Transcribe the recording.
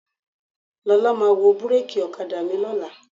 Lọ́la máa wo búréèkì ọ̀kadà mi lọ́la.